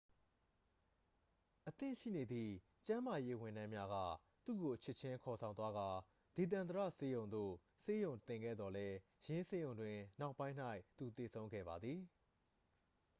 အသင့်ရှိနေသည့် ကျန်းမာရေး ဝန်ထမ်းများက သူ့ကို ချက်ချင်း ခေါ်ဆောင်သွားကာ ဒေသန္တရဆေးရုံသို့ ဆေးရုံတင်ခဲ့သော်လည်း ယင်းဆေးရုံတွင် နောက်ပိုင်း၌ သူသေဆုံးသွားခဲ့သည်